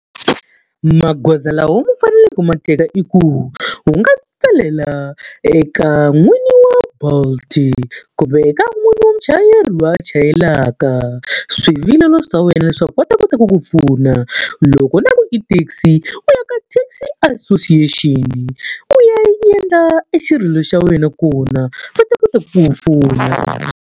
Magoza lawa u faneleke ma teka i ku, u nga tsalela eka n'wini wa Bolt-i kumbe eka n'wini wa muchayeri loyi a chayelaka, swivilelo swa wena leswaku va ta kota ku ku pfuna. Loko ku ri na ku i taxi, u ya ka taxi association-i u ya yi endla e xirilo xa wena kona. Va ta kota ku ku pfuna.